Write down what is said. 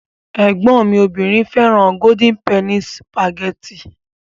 Ẹ̀gbọ́n mi obìnrin fẹ́ràn Golden penny sìpàgẹ́tì.